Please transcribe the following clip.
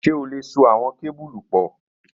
Ṣe o le so awọn kebulu pọ?